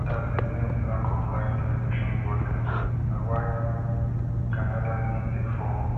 odas dey blame di lack of live television broadcasts na why ganadan league dey fall